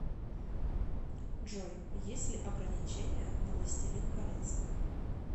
джой есть ли ограничения на властелин колец